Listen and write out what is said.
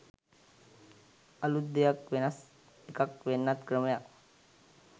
අලූත් දෙයක් වෙනස් එකක් වෙනත් ක්‍රමයක්